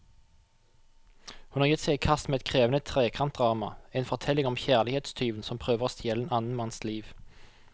Hun har gitt seg i kast med et krevende trekantdrama, en fortelling om kjærlighetstyven som prøver å stjele en annen manns liv.